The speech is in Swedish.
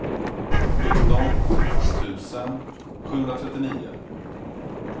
sjutton tusen sjuhundratrettionio